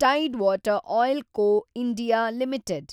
Tide water oil co (India) limited